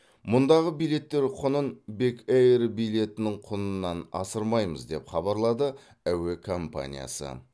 мұндағы билеттер құнын бек эйр билетінің құнынан асырмаймыз деп хабарлады әуе компаниясы